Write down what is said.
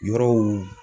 Yɔrɔw